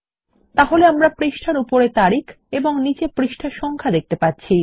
তাহলে আমরা পৃষ্ঠার উপরে তারিখ এবং নীচে পৃষ্ঠা সংখ্যা দেখতে পাচ্ছি